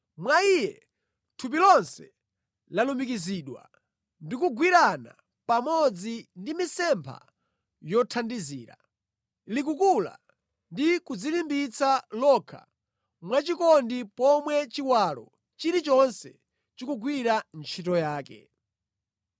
Mwa Iye thupi lonse lalumikizidwa ndi kugwirana pamodzi ndi mitsempha yothandizira. Likukula ndi kudzilimbitsa lokha mwachikondi, pomwe chiwalo chilichonse chikugwira ntchito yake.